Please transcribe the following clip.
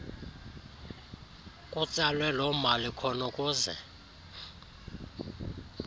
kutsalwe lomali khonukuze